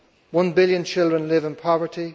One billion children live in poverty,